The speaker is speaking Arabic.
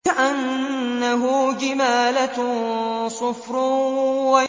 كَأَنَّهُ جِمَالَتٌ صُفْرٌ